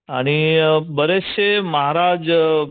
आणि बरेचशे महाराज